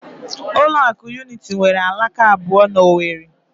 Ụlọ akụ Unity nwere alaka abụọ na Owerri